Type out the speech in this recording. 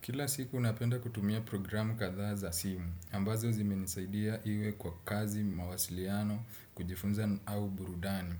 Kila siku napenda kutumia programu katha za simu ambazo zimenisaidia iwe kwa kazi, mawasiliano, kujifunza, au burudani.